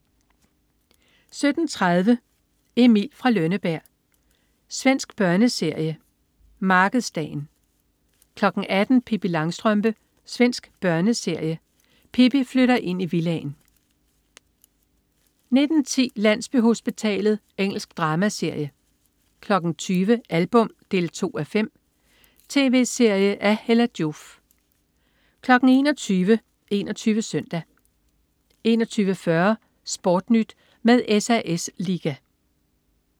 17.30 Emil fra Lønneberg. Svensk børneserie. Markedsdagen 18.00 Pippi Langstrømpe. Svensk børneserie. Pippi flytter ind i villaen 19.10 Landsbyhospitalet. Engelsk dramaserie 20.00 Album 2:5. Tv-serie af Hella Joof 21.00 21 Søndag 21.40 SportNyt med SAS Liga